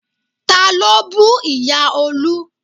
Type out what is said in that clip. Ta ló bú ìyá Olú?